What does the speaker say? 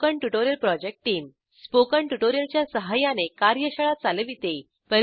spoken tutorial project team spoken tutorial च्या सहाय्याने कार्यशाळा चालविते